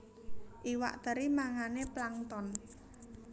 Iwak teri mangané plankton